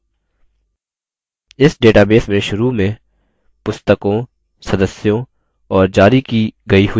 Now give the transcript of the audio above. इस database में शुरू में पुस्तकों सदस्यों और जारी की गयी हुई पुस्तकों पर tables थे